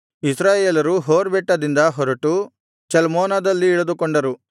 ಇಸ್ರಾಯೇಲರು ಹೋರ್ ಬೆಟ್ಟದಿಂದ ಹೊರಟು ಚಲ್ಮೋನದಲ್ಲಿ ಇಳಿದುಕೊಂಡರು